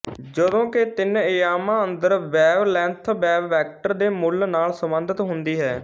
ਜਦੋਂਕਿ ਤਿੰਨ ਅਯਾਮਾਂ ਅੰਦਰ ਵੇਵਲੈਂਥ ਵੇਵਵੈਕਟਰ ਦੇ ਮੁੱਲ ਨਾਲ ਸਬੰਧਤ ਹੁੰਦੀ ਹੈ